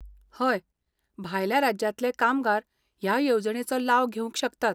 हय, भायल्या राज्यांतले कामगार ह्या येवजणेचो लाव घेवंक शकतात.